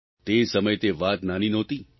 તે સમયે તે વાત નાની નહોતી